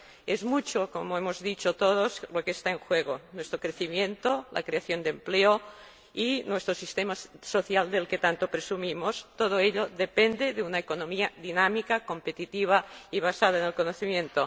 Es mucho como hemos dicho todos lo que está en juego nuestro crecimiento, la creación de empleo y nuestro sistema social, del que tanto presumimos, todo ello depende de una economía dinámica, competitiva y basada en el conocimiento.